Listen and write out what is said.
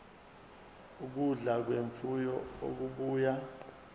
ukudla kwemfuyo okubuya